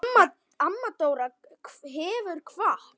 Amma Dóra hefur kvatt.